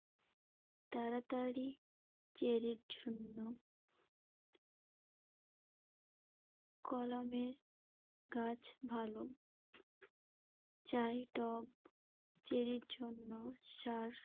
তাড়াতাড়ি চেরির জন্য। কলমের গাছ ভালো। চাই টব চেরির জন্য। সার